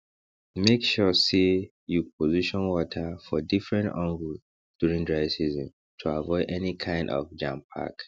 make sure say you position water for different angle during dry season to avoid any kind of jampack